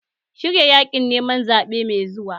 Shirya yaƙin neman zaɓe mai zuwa!